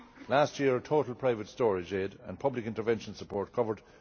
Last year, total private storage aid and public intervention support covered